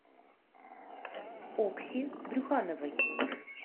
окси брюхановой